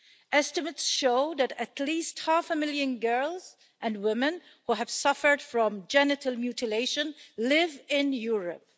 Estimates show that at least half a million girls and women who have suffered from genital mutilation live in Europe.